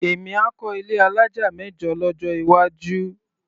Èmi á kọ́ ilé alájà mẹ́jọ lọ́jọ́ iwájú.